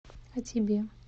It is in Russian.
а тебе